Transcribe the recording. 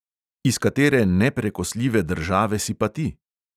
"Iz katere neprekosljive države si pa ti?"